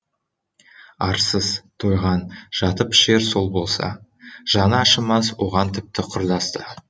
арсыз тойған жатып ішер сол болса жаны ашымас оған тіпті құрдас та